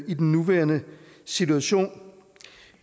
i den nuværende situation